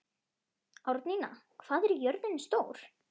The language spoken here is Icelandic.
Árnína, hvað er jörðin stór?